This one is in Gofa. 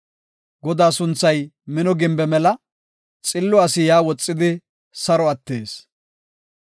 Godaa sunthay mino gimbe mela; xillo asi yaa woxidi saro attees.